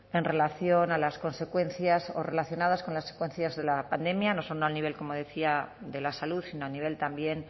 en relación a las consecuencias o relacionadas con las consecuencias de la pandemia no solo al nivel como decía de la salud sino a nivel también